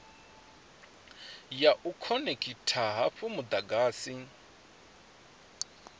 ya u khonekhitha hafhu mudagasi